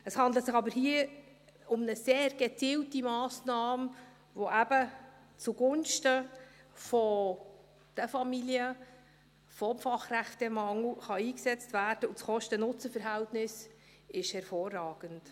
Es handelt sich aber hier um eine sehr gezielte Massnahme, die eben zugunsten der Familien und gegen den Fachkräftemangel eingesetzt werden, und das Kosten-Nutzen-Verhältnis ist hervorragend.